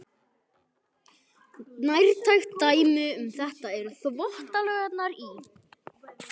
Nærtækt dæmi um þetta eru Þvottalaugarnar í